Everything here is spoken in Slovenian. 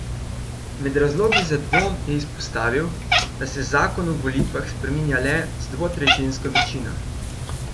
Med razlogi za dvom je izpostavil, da se zakon o volitvah spreminja le z dvotretjinsko večino.